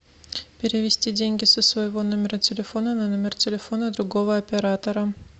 перевести деньги со своего номера телефона на номер телефона другого оператора